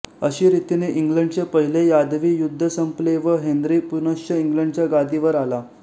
अशी रितीने इंग्लंडचे पहिले यादवी युध्द संपले व हेन्री पुनश्च इंग्लंडच्या गादीवर आला